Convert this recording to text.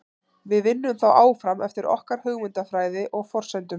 Við vinnum þó áfram eftir okkar hugmyndafræði og forsendum.